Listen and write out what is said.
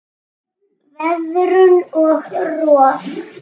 Veðrun og rof